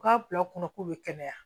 U k'a bila u kunna k'u bɛ kɛnɛya